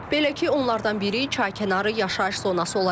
Belə ki, onlardan biri çaykənarı yaşayış zonası olacaq.